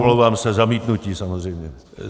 Omlouvám se, zamítnutí samozřejmě.